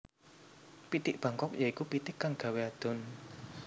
Pitik Bangkok ya iku pitik kang gawé adhon